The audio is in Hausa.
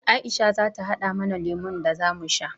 Aisha za ta haɗa mana lemon da za mu sha.